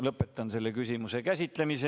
Lõpetan selle küsimuse käsitlemise.